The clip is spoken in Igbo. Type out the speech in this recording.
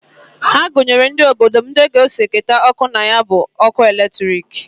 Ha gunyere ndi obodo m na ndi g'eso keta oke na ya bụ nkesa ọkụ latrịk.